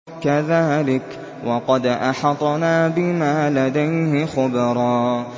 كَذَٰلِكَ وَقَدْ أَحَطْنَا بِمَا لَدَيْهِ خُبْرًا